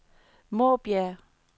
Måbjerg